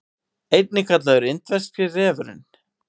einnig kallaður indverski refurinn